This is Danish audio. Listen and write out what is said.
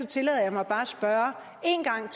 tillader jeg mig bare at spørge en gang